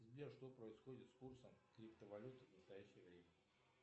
сбер что происходит с курсом криптовалюты в настоящее время